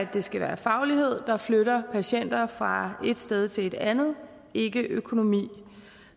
det skal være faglighed der flytter patienter fra et sted til et andet ikke økonomi